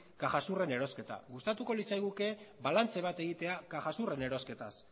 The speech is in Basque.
cajasuren erosketa gustatuko litzaiguke balantze bat egitea cajasuren erosketaz